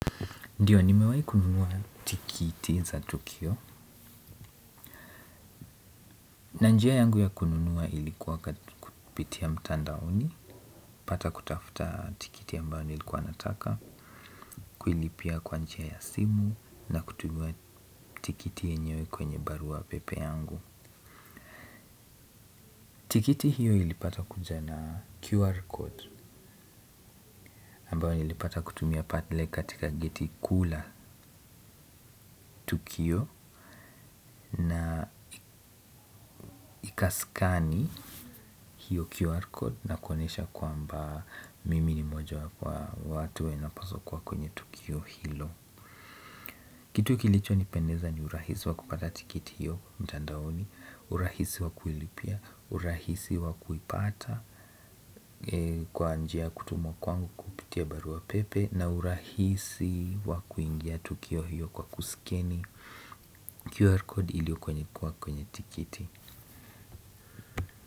Ndio nimewai kununua tikiti za tukio na njia yangu ya kununua ilikuwa kupitia mtandaoni pata kutafuta tikiti ambayo nilikuwa nataka kuilipia kwa njia ya simu na kutumiwa tikiti yenyewe kwenye barua pepe yangu tikiti hiyo ilipata kuja na qr code ambayo nilipata pale kutumia katika geti kuu la tukio na ikaskani hiyo QR code na kuonesha kwamba mimi ni mojawapo wa watu wenye wanapaswa kwa kwenye tukio hilo kitu kilicho nipendeza ni urahisi wa kupata tikiti hiyo mtandaoni urahisi wa kuilipia, urahisi wa kuipata kwa njia kutumwa kuangu kupitia barua pepe na urahisi wa kuingia tukio hiyo kwa kuskeni QR code iliyokwenye kuwa kwenye tikiti.